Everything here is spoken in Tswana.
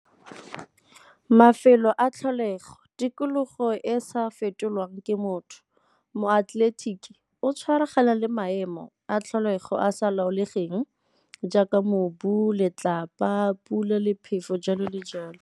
Mafelo a tlholego, tikologo e e sa fetolwang ke motho. Moatleletiki o tshwaragana le maemo a tlholego a a sa laolegeng jaaka mobu, letlapa, pula le phefo, jalo le jalo.